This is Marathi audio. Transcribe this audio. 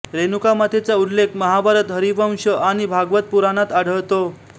रेणुकामातेचा उल्लेख महाभारत हरिवंश आणि भागवत पुराणात आढळतो